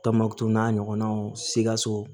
Tɔnbukutu n'a ɲɔgɔnnaw sikaso